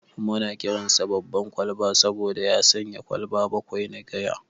Muna kiransa "Baban Kwalba" saboda ya shanye kwalba bakwai na giya.